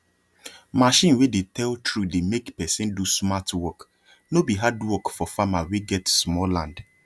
machine wey dey tell true dey make person do smart workno be hard work for farmer wey get small land